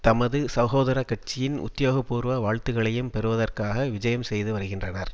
தமது சகோதர கட்சியின் உத்தியோகபூர்வ வாழ்த்துக்களையும் பெறுவதற்காக விஜயம் செய்துவருகின்றனர்